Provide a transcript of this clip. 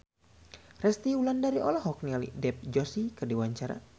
Resty Wulandari olohok ningali Dev Joshi keur diwawancara